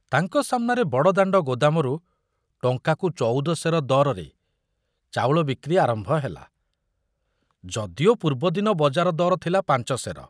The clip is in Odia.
ତାଙ୍କ ସାମନାରେ ବଡ଼ଦାଣ୍ଡ ଗୋଦାମରୁ ଟଙ୍କାକୁ ଚଉଦ ସେର ଦରରେ ଚାଉଳ ବିକ୍ରି ଆରମ୍ଭ ହେଲା, ଯଦିଓ ପୂର୍ବଦିନ ବଜାର ଦର ଥିଲା ପାଞ୍ଚ ସେର।